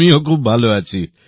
আমিও খুব ভাল আছি